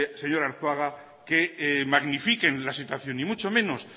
señor arzuaga que magnifiquen la situación y mucho menos